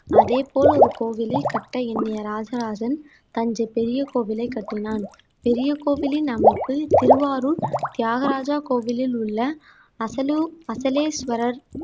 அதேபோல் ஒரு கோவிலை கட்ட எண்ணிய ராஜராஜன் தஞ்சை பெரிய கோவிலை கட்டினான் பெரிய கோவிலின் அமைப்பு திருவாரூர் தியாகராஜா கோவிலில் உள்ள அசல்லூர் அசலேஸ்வரர்